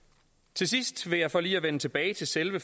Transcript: til sidst vil jeg for lige at vende tilbage til selve